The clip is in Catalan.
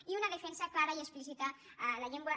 i una defensa clara i explícita a la llengua